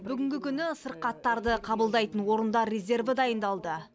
бүгінгі күні сырқаттарды қабылдайтын орындар резерві дайындалды